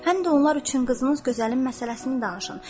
Həm də onlar üçün qızınız gözəlin məsələsini danışın.